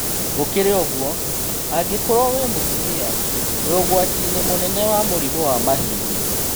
Gũkĩrĩ ũguo, angĩkorwo wĩ mũtumia, wĩ ũgwati-inĩ mũnene wa mũrimũ wa mahĩndĩ